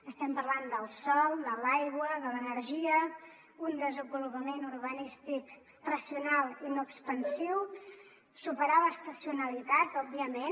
estem parlant del sòl de l’aigua de l’energia un desenvolupament urbanístic racional i no expansiu superar l’estacionalitat òbviament